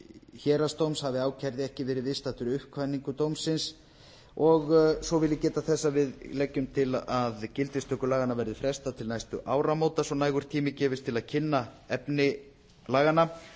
héraðsdóm hafi ákærði ekki verið viðstaddur uppkvaðningu dómsins svo vil ég geta þess að við leggjum til að gildistöku laganna verði frestað til næstu áramóta svo nægur tími gefist til að kynna efni laganna